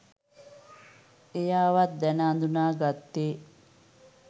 එයා වත් දැන අඳුන ගත්තේ